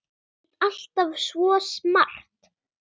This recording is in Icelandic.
Þú ert alltaf svo smart.